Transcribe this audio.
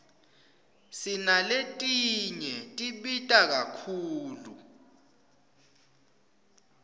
sinaletinye tibita kakhulu